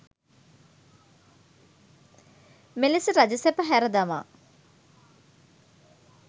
මෙලෙස රජසැප හැර දමා